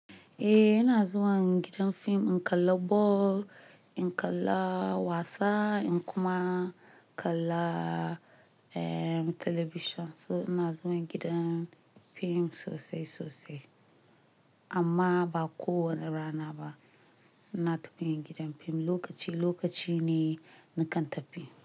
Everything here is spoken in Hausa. Eh, ina zuwa gidan fim. In kalla ball, in kalla wasa, in kuma kalla television. So ina zuwa gidan fim sosai sosai. Amma ba kowane rana ba ina tafiyan gidan fim. Lokaci lokaci ne nakan tafi.